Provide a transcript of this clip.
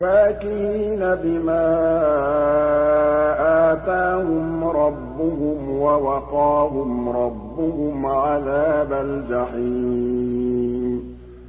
فَاكِهِينَ بِمَا آتَاهُمْ رَبُّهُمْ وَوَقَاهُمْ رَبُّهُمْ عَذَابَ الْجَحِيمِ